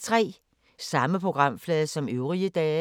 Samme programflade som øvrige dage